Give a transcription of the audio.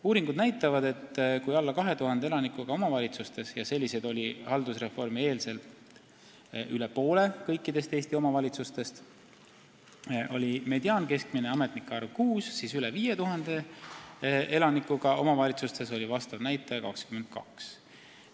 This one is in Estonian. Uuringud näitavad, et kui alla 2000 elanikuga omavalitsustes – üle poole kõikidest Eesti omavalitsustest olid sellised enne haldusreformi – oli mediaankeskmine ametnike arv 6, siis üle 5000 elanikuga omavalitsustes oli vastav näitaja 22.